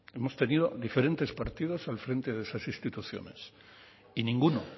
hemos tenido diferentes partidos al frente de esas instituciones y ninguno